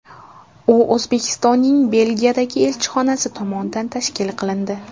U O‘zbekistonning Belgiyadagi elchixonasi tomonidan tashkil qilindi.